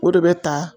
O de bɛ ta